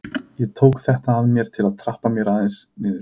Ég tók þetta að mér til að trappa mér niður.